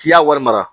K'i y'a wari mara